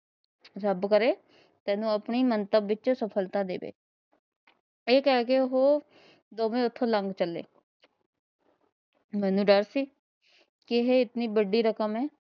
ਰੱਬ ਕਰੇ ਤੈਨੂੰ ਆਪਣੀ ਮੰਤਵ ਵਿੱਚ ਸਫ਼ਲਤਾ ਦੇਵੇ । ਇਹ ਕਹਿ ਕੇ ਉਥੋਂ ਉਹ ਦੋਵੇ ਲੱਗ ਚੱਲੇ। ਮੈਨੂੰ ਡਰ ਕੀ ਇਹ ਇਤਨੀ ਵੱਡੀ ਰਕਮ ਏ,